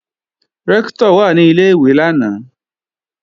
Rẹ́ktọ̀ wà ní Ilé-ìwé lánàá